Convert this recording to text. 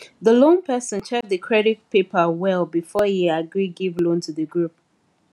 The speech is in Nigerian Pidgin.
the loan person check the credit paper well before e agree give loan to the group